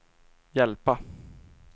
hjälpa